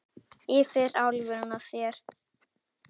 Yfir álfuna þvera